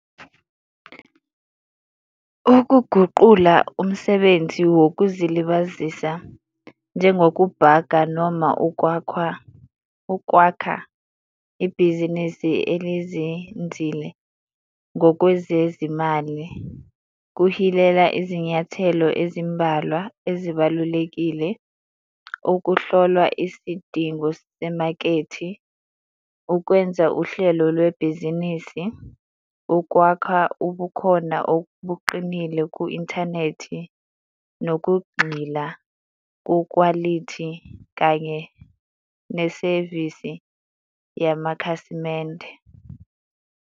Ukuguqula umsebenzi wokuzilibazisa njengokubhaka noma ukwakhwa, ukwakha ibhizinisi elizinzile ngokwezezimali, kuhilela izinyathelo ezimbalwa ezibalulekile, ukuhlolwa isidingo semakethe, ukwenza uhlelo lwebhizinisi, ukwakha ubukhona obuqinile ku-inthanethi, nokugxila kokwalithi kanye nesevisi yamakhasimende.